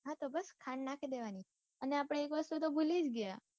હા તો બસ ખાંડ નાખી દેવાની અને આપડે એક વસ્તુ તો ભૂલી જ ગયા.